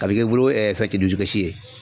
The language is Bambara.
A bɛ kɛ i bolo fɛn dusukasi ye.